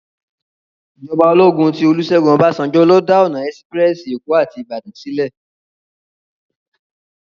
Ijòbá ólógún ti Olusegun Obasanjo ló dá òná èsipirèsi Ékó áti Ibadan silè